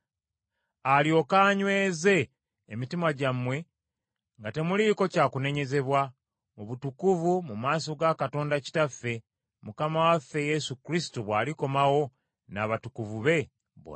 alyoke anyweze emitima gyammwe nga temuliiko kya kunenyezebwa mu butukuvu mu maaso ga Katonda Kitaffe, Mukama waffe Yesu Kristo bw’alikomawo n’abatukuvu be bonna.